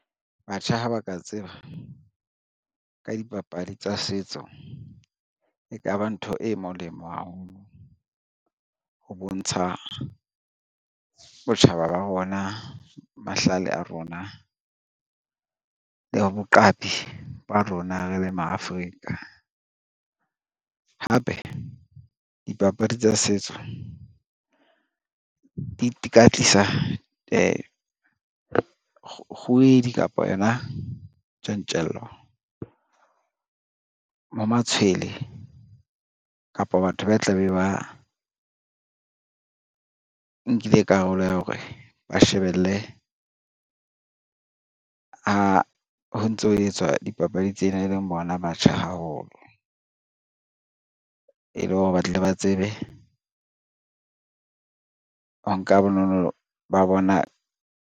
Batjha ha ba ka tseba ka dipapadi tsa setso, e ka ba ntho e molemo haholo, ho bontsha botjhaba ba bona, mahlale a rona le boqapi ba rona re le ma Afrika. Hape dipapadi tsa setso di kgowedi kapa yona tjantjello ya matshwele kapa batho ba tla be ba nkile karolo ya hore ba shebelle ha ho ntso ho etswa dipapadi tsena, e leng bona batjha haholo e le hore ba tle ba tsebe ho nka bonono ba bona.